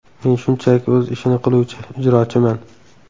Men shunchaki o‘z ishini qiluvchi ijrochiman.